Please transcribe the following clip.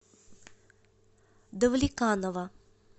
давлеканово